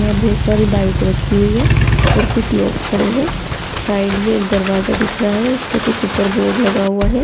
यहाँ बहुत सारी बाईक रखी हुयी है और कुछ लोग खड़े है साईड में एक दरवाजा दिख रहा है उस पे कुछ ऊपर बोर्ड लगा हुआ है।